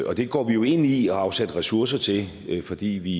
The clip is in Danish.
og det går vi jo ind i og har afsat ressourcer til fordi vi